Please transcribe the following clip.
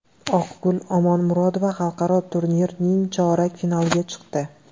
Oqgul Omonmurodova xalqaro turnirning chorak finaliga chiqdi.